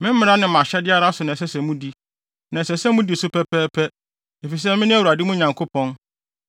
Me mmara ne mʼahyɛde ara so na ɛsɛ sɛ mudi; na ɛsɛ sɛ mudi so pɛpɛɛpɛ, efisɛ mene Awurade mo Nyankopɔn.